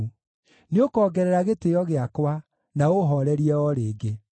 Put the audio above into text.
Nĩũkongerera gĩtĩĩo gĩakwa, na ũũhoorerie o rĩngĩ.